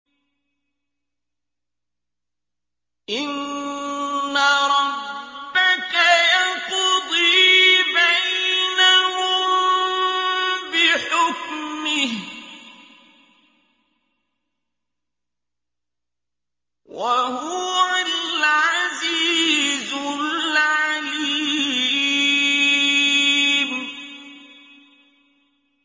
إِنَّ رَبَّكَ يَقْضِي بَيْنَهُم بِحُكْمِهِ ۚ وَهُوَ الْعَزِيزُ الْعَلِيمُ